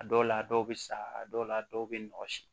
A dɔw la a dɔw bɛ sa a dɔw la dɔw bɛ nɔgɔnsi